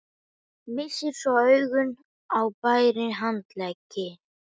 Missir svo augun á bera handleggi